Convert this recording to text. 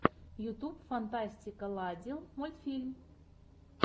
ютуб фантастикаладил мультфильм